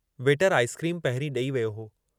वेटरु ice cream पहिरीं ॾेई वियो हो।